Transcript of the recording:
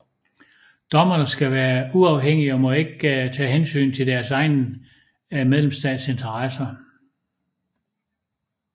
Dommerne skal være uafhængige og må ikke tage hensyn til deres egen medlemsstats interesser